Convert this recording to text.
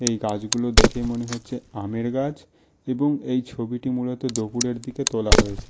এই গাছগুলো দেখে মনে হচ্ছে আমের গাছ এবং এই ছবিটি মূলত দপুরের দিকে তোলা হয়েছে।